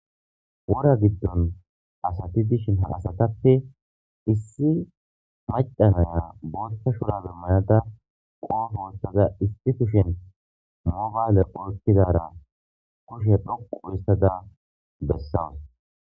Wora gidon asat dishn ha asatappe issi maca Naya both shurabe mayda qope wothida issi kushen mobile oykidara kushe dhoqu histada besawus